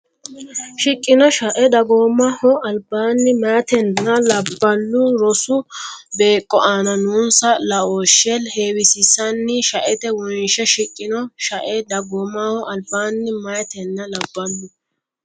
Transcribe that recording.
shiqqino shae dagoomaho albaanni meyatenna labballu rosu beeqqo aana noonsa laooshshe heewisiissinanni shaete wonshe shiqqino shae dagoomaho albaanni meyatenna labballu.